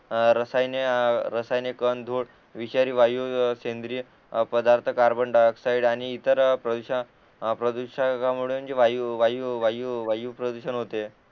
तर रसायने रसायने कण धूळ विषारी वायू सेंद्रिय पदार्थ कार्बन डाय ऑक्साईड आणि ईतर प्रदूषण अ प्रदुषकामुळे जे वायू वायू प्रदूषण होते